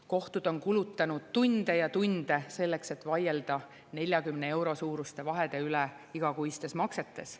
Kohtud on kulutanud tunde ja tunde selleks, et vaielda 40 euro suuruste vahede üle igakuistes maksetes.